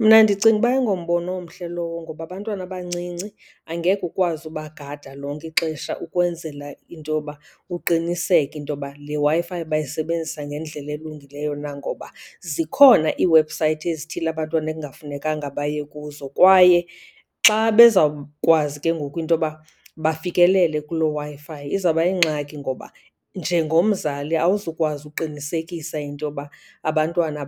Mna ndicinga ukuba ayingombono omhle lowo, ngoba abantwana abancinci angeke ukwazi ubagada lonke ixesha ukwenzela into yoba uqiniseke into yoba le Wi-Fi bayisebenzisa ngendlela elungileyo na. Ngoba zikhona ii-website ezithile abantwana ekungafunekanga baye kuzo kwaye xa bezawukwazi ke ngoku into yoba bafikelele kuloo Wi-Fi izawuba yingxaki, ngoba njengomzali awuzukwazi uqinisekisa into yoba abantwana